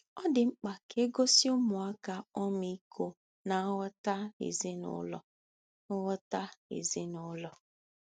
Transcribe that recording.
Ọ dị mkpa ka e gosi ụmụaka ọmịiko na nghọta n'ezinụlọ nghọta n'ezinụlọ.